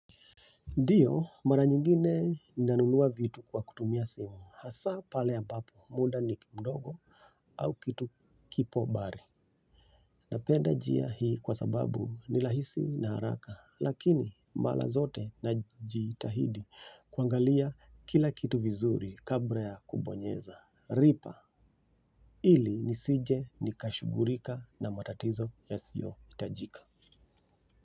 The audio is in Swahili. Ndiyo mara nyingine ninanunua vitu kwa kutumia simu, hasa pale ambapo muda ni mdogo au kitu kipo mbali. Napenda njia hii kwa sababu ni rahisi na haraka, lakini mara zote najitahidi kuangalia kila kitu vizuri kabla ya kubonyeza. Lipa, ili nisije nikashughulika na matatizo yasiyohitajika.